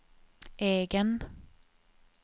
egen